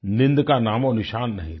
नींद का नामओनिशान नहीं था